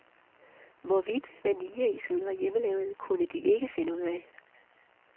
Hvorvidt vanilleisen var hjemmelavet, kunne de ikke finde ud af.